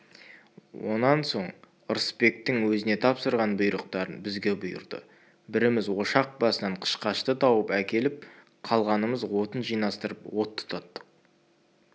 онан соң ырысбектің өзіне тапсырған бұйрықтарын бізге бұйырды біріміз ошақ басынан қышқашты тауып әкеліп қалғанымыз отын жинастырып от тұтаттық